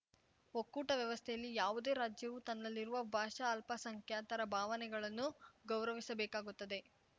ಒಕ್ಕೂಟ ವ್ಯವಸ್ಥೆಯಲ್ಲಿ ಯಾವುದೇ ರಾಜ್ಯವು ತನ್ನಲ್ಲಿರುವ ಭಾಷಾ ಅಲ್ಪಸಂಖ್ಯಾತರ ಭಾವನೆಗಳನ್ನು ಗೌರವಿಸಬೇಕಾಗುತ್ತದೆ